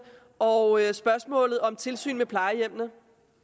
og spørgsmålet om tilsyn med plejehjemmene